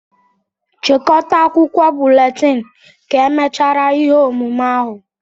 chịkọta akwụkwọ búlétin ka emechara ihe omume ahụ